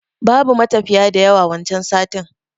Babu matafiya da yawa wancan satin